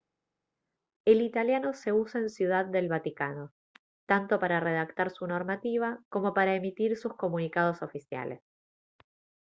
el italiano se usa en ciudad del vaticano tanto para redactar su normativa como para emitir sus comunicados oficiales